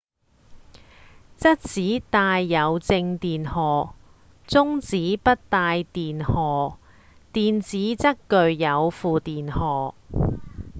質子帶有正電荷中子不帶電荷電子則具有負電荷